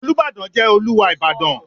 Olúbàdàn jẹ́ Olúwa Ìbàdàn.